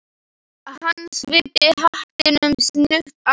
Hann svipti hattinum snöggt af sér.